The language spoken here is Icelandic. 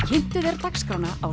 svolítið verið að